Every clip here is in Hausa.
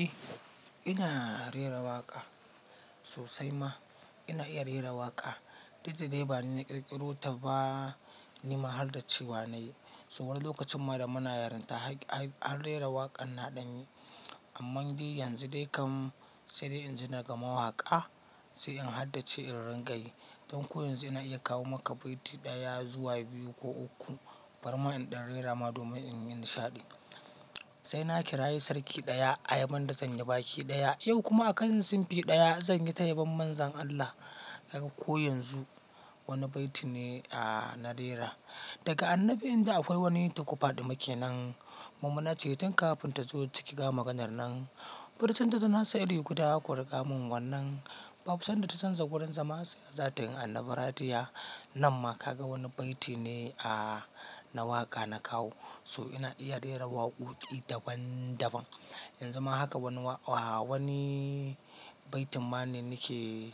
Eh ina rera waƙa sosai ma. Ina iya rera waƙa. Duk dai ba ni na ƙirƙiro ta ba ni ma har dacewa na yi. To wani lokacin ma da muna yaran ta har rera waƙan na ɗan yi amma dai yanzu dai kam sai dai in ji daga mawaƙa sai in hadda ce in rinƙa yi. Don ko yanzu ina iya kawo maka baiti ɗaya zuwa biyu ko uku. Bari ma in ɗan rera ma domin in yi nishaɗi. Sai na kira yi sarki ɗaya ayaban da sanye baki ɗaya. Yau kuma a kan simpi ɗaya zanyi ta yabon Manzon Allah. Kaga ko yanzu wani baiti ne a na rera. Daga annabi in da akwai wani toko faɗima kenan. Mu muna ceton kafin ta zo ciki ga maganar nan. Furicinta dana sa iri guda kuriƙa min wannan. Babu sanda ta san ja gurin zama sai za tin annabi ratiyya. Nan ma ka ga wani baiti ne a na waƙa na kawo. So ina iya rera waƙoƙi daban daban. Yan zu ma haka wani baitin ma ne nake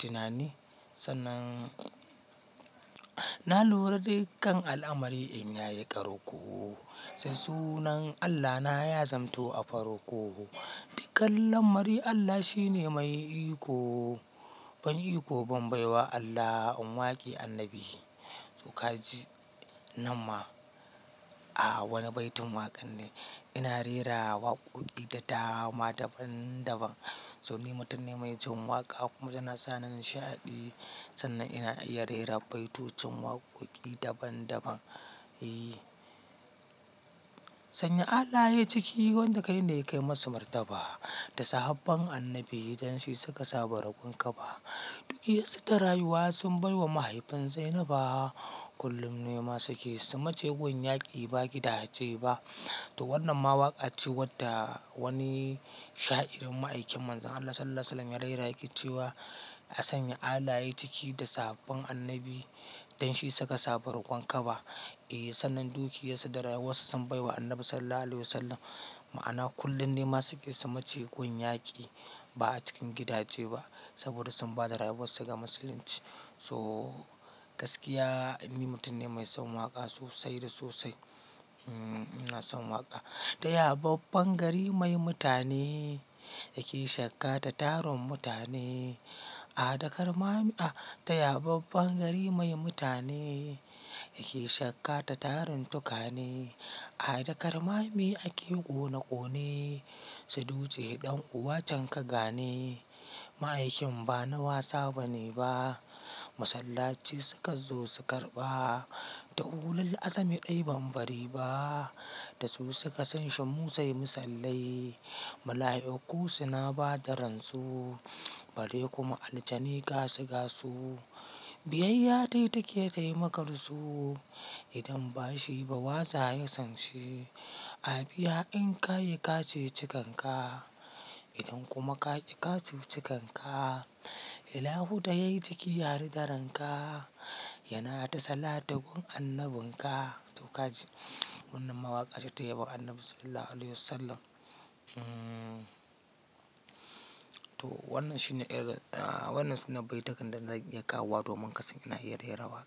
tunani sannan. Na lura dukkan al'amari in yayi ƙarƙo. Sai sunan Allah na ya zamto a farko. Dukkan lamari Allah shine mai iko. Ban iko ban bai wa Allah in waƙe annabi. To ka ji nan ma a wani baitin waƙar ne. Ina rera waƙoƙi da dama daban daban. So ni mutum ne mai jin waƙa kuma yana sa ni nishaɗi. Sannan ina iya rera baitocin waƙoƙi daban daban. Can ya Allah yay ciki wanda kaine kai masa martaba da sahabben annabi dan shi suka saba roƙon kaba. Dukiyarsu ta rayuwa sun bai wa mahaifin Zainaba. Kullum nema su ke su mace gun yaki ba gida je ba. To wannan ma waƙa ce wadda wani sha'irin ma'aikin Manzon Allah Sallallahu Alaihi Wasallam ya rera yake cewa. A sanya Allah yayi ciki da sababben annabi dan shi suka saba roƙon kaba. Eh sannan dukiyarsu da rayuwarsu sun bai wa Annabi Sallallahu Alaihi Wasallam. Ma'ana kullum nema suke su mace gun yaki ba a cikin gida je ba. Saboda sun bada rayuwarsu ga musulunci. So gaskiya in ni mutum ne mai son waƙa sosai da sosai. Ina son waƙa. Taya babban gari mai mutane. Yake shakka da taron mutane. A dakar ma a taya babban gari mai mutane. Yake shakka ta taron tukane. A dakar mahami ake ƙone ƙone. Su dutse ɗan uwa can ka gane. Ma'aikin ba na wasa bane ba. Masallaci suka zo su karɓa. Da ulul azami dai ban bari ba. Da su suka san shan Musa ya yi masallai. Mala'iku suna bada ransu. Bari kuma aljani ga su ga su. Biyayya dai take taimakar su. Idan bashi ba waza ya san shi. A biya in kayi ka ceci kanka. Idan kuma ka ƙi ka cuci kanka. Ilaahu da yayi jiki har da ranka. Yana da salati gun annabin ka. To ka ji wannan ma waƙa ce ta yabon Annabi Sallallahu Alaihi Wasallam. To wannan su ne bai tukan da zan iya kawo wa don kasan ina iya rera waƙa.